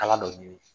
Kala dɔ ɲini